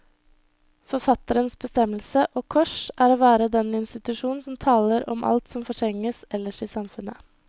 Forfatterens bestemmelse, og kors, er å være den institusjon som taler om alt som fortrenges ellers i samfunnet.